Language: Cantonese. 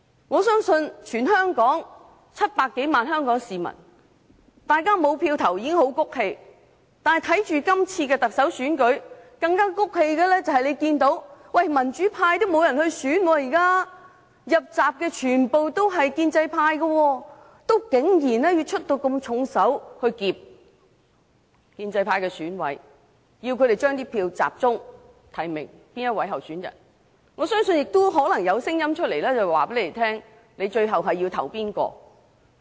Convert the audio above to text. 我相信全港700多萬名市民對不能投票已經很氣憤，更氣憤的是，大家看不到今次特首選舉有民主派人士參選，入閘的全屬建制派，但有人竟然要出重手脅迫建制派選委，要他們集中提名某候選人，我相信可能有聲音告訴他們最後要投票給誰。